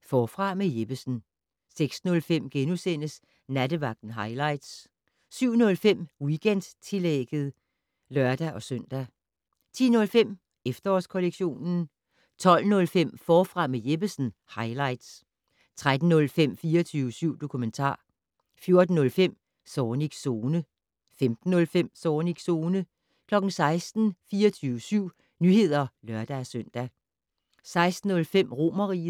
Forfra med Jeppesen * 06:05: Nattevagten highlights * 07:05: Weekendtillægget (lør-søn) 10:05: Efterårskollektionen 12:05: Forfra med Jeppesen - highlights 13:05: 24syv dokumentar 14:05: Zornigs Zone 15:05: Zornigs Zone 16:00: 24syv Nyheder (lør-søn) 16:05: Romerriget